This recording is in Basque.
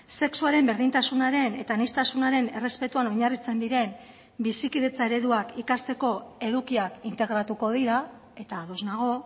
sexuaren berdintasunaren eta aniztasunaren errespetuan oinarritzen diren bizikidetza ereduak ikasteko edukiak integratuko dira eta ados nago